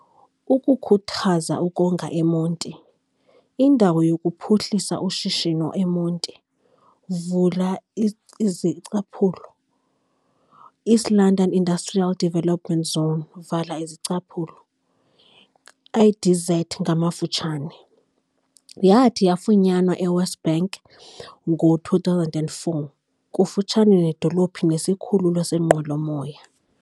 Ukukhuthaza ukonga eMonti, indawo yokuphuhlisa ushishino eMonti, East London Industrial Development Zone, IDZ, yathi yafunyanwa eWest Bank ngo-2004, kufutshane nedolophu nesikhululo seenqwelo-moya.